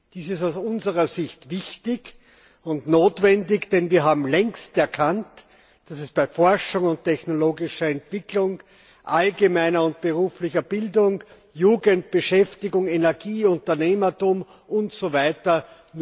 Dies ist aus unserer Sicht wichtig und notwendig, denn wir haben längst erkannt, dass es bei Forschung und technologischer Entwicklung, allgemeiner und beruflicher Bildung, Jugendbeschäftigung, Energie, Unternehmertum usw.